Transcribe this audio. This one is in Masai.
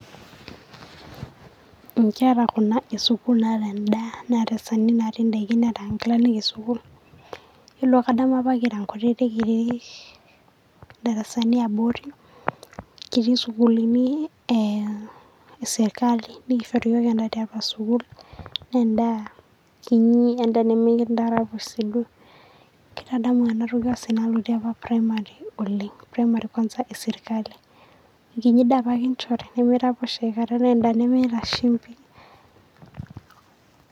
Enkera Kuna esukuul naata endaa Neeta esaanini natii endaiki Neeta Enkilanik esukuul Yielo kadamu apa kira enkutitik kitii idarasani eabori, kitii esukuuluni esirkali naa keishori iyiok endaa tiatua sukuul naa endaa kinyi, endaa nemekindaraposh sii duo, Kaitadamu ena toki osina otii apa Primary oleng' kwansa primary esirkali. Enkinyi ndaa apake kinyorri naa endaa nemekiraposh naa endaa nemeeta shumpi.